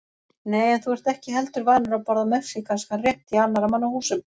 Nei, en þú ert ekki heldur vanur að borða mexíkanskan rétt í annarra manna húsum